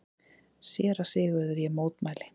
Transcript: SÉRA SIGURÐUR: Ég mótmæli!